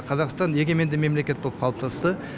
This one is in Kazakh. қазақстан егеменді мемлекет болып қалыптасты